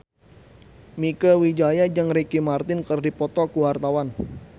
Mieke Wijaya jeung Ricky Martin keur dipoto ku wartawan